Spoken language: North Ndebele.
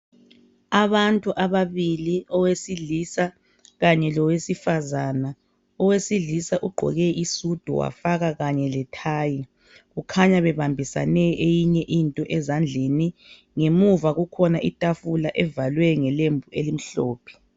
Abantu ababili, owesilisa kanye lowesifazana. Owesilisa ugqoke isudu wafaka kanye lethayi . Kukhanya bebambisane eyinye into ezandleni . Ngemuva kukhona itafula evalwe ngelembu elimhlophe.